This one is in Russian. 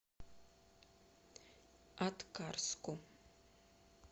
аткарску